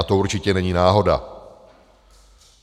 A to určitě není náhoda.